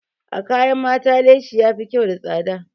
A kayan mata leshi yafi kyau da tsada.